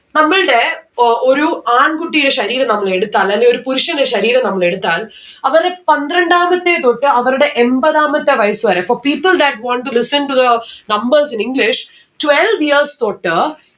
നമ്മൾടെ ഏർ ഒരു ആൺ കുട്ടിടെ ശരീരം നമ്മൾ എടുത്താൽ അല്ലേൽ ഒരു പുരുഷന്റെ ശരീരം നമ്മൾ എടുത്താൽ അവരെ പന്ത്രണ്ടാമത്തെ തൊട്ട് അവര്ടെ എമ്പതാമത്തെ വയസ്സ് വരെ for people that want to listen to the numbers in english twelve years തൊട്ട്